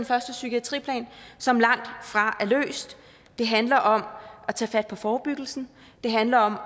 første psykiatriplan som langtfra er løst det handler om at tage fat på forebyggelsen det handler om